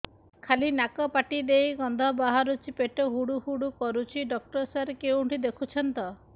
ଖାଲି ନାକ ପାଟି ଦେଇ ଗଂଧ ବାହାରୁଛି ପେଟ ହୁଡ଼ୁ ହୁଡ଼ୁ କରୁଛି ଡକ୍ଟର ସାର କେଉଁଠି ଦେଖୁଛନ୍ତ